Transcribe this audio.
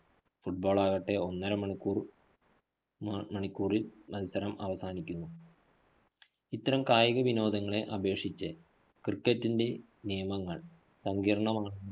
football ആകട്ടെ ഒന്നര മണിക്കൂര്‍ ഒന്നര മണിക്കൂറില്‍ മത്സരം അവസാനിക്കുന്നു. ഇത്തരം കായിക വിനോദങ്ങളെ അപേക്ഷിച്ച് cricket ന്റെ നിയമങ്ങള്‍ സങ്കീര്‍ണ്ണമാ